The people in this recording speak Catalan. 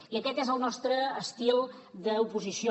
i aquest és el nostre estil d’oposició